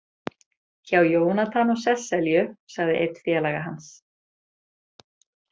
Hjá Jónatan og Sesselju, sagði einn félaga hans.